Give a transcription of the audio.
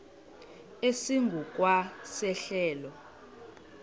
esingu kwa sehlelo